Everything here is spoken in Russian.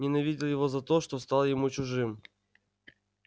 ненавидел его за то что стал ему чужим